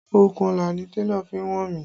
Okùnọlà ni télọ̀ fi wọ̀n mí